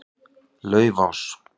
Laufás